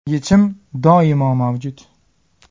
Yechim doimo mavjud!